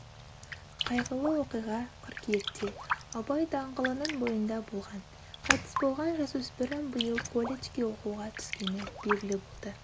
қайғылы оқиға қыркүйекте абай даңғылының бойында болған қайтыс болған жасөспірім биыл колледжге оқуға түскені белгілі болды